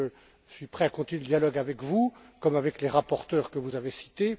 Je suis donc prêt à continuer le dialogue avec vous comme avec les rapporteurs que vous avez cités.